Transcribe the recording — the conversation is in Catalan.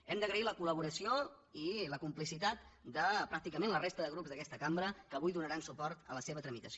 hem d’agrair la col·laboració i la complicitat de pràcticament la resta de grups d’aquesta cambra que avui donaran suport a la seva tramitació